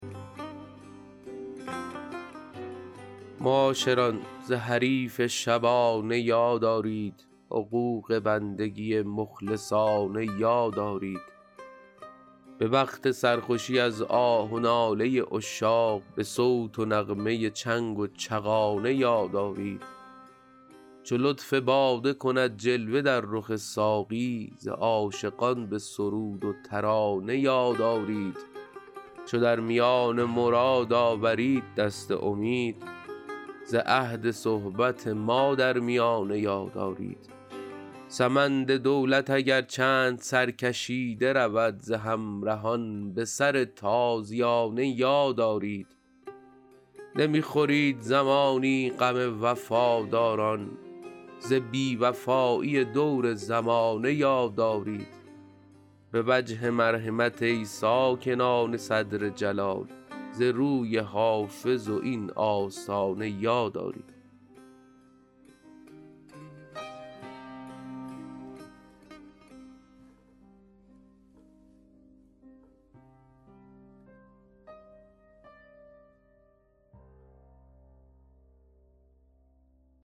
معاشران ز حریف شبانه یاد آرید حقوق بندگی مخلصانه یاد آرید به وقت سرخوشی از آه و ناله عشاق به صوت و نغمه چنگ و چغانه یاد آرید چو لطف باده کند جلوه در رخ ساقی ز عاشقان به سرود و ترانه یاد آرید چو در میان مراد آورید دست امید ز عهد صحبت ما در میانه یاد آرید سمند دولت اگر چند سرکشیده رود ز همرهان به سر تازیانه یاد آرید نمی خورید زمانی غم وفاداران ز بی وفایی دور زمانه یاد آرید به وجه مرحمت ای ساکنان صدر جلال ز روی حافظ و این آستانه یاد آرید